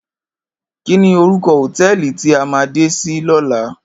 Kini órúkò hótèlí ti á má dé si lòlá?